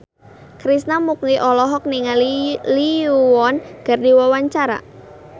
Krishna Mukti olohok ningali Lee Yo Won keur diwawancara